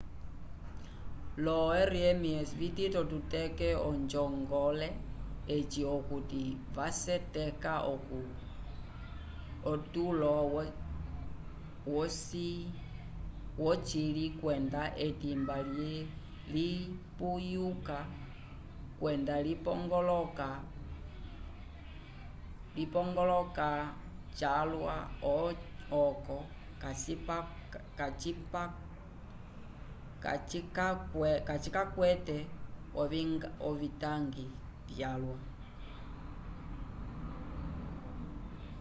lo rems vitito kuteke onjongole eyi okuti vaseteka otulo wocili kwenda etimba lipuyuka kwenda lipongoloka calwa oco kacikakwate ovitangi vyalwa